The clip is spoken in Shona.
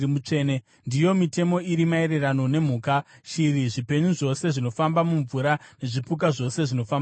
“ ‘Ndiyo mitemo iri maererano nemhuka, shiri, zvipenyu zvose zvinofamba mumvura nezvipuka zvose zvinofamba panyika.